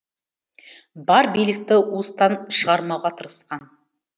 бар билікті уыстан шығармауға тырысқан